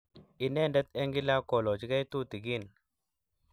inendet eng kila kolochigei tutikiin